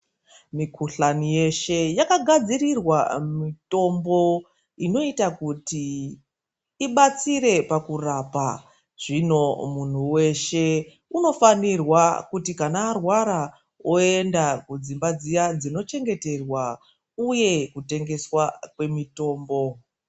Mikuhlani yeshe yakagadzirirwa mitombo inoita kuti ibatsire pakurapwa, zvino munthu weshe unofanira kuti kana arwara oenda kudzimba dziya dzinochengeterwa uye kutengeswa kwemitombo.